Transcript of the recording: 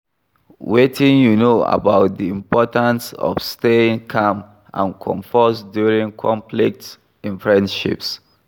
Wetin you know about di importance of staying calm and composed during conflicts in friendships?